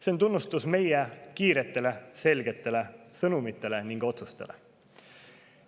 See on tunnustus meie kiiretele selgetele sõnumitele ning otsustele.